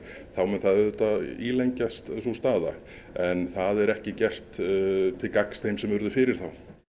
þá mun það auðvitað ílengjast sú staða en það er ekki gert til gagns þeim sem urðu fyrir þá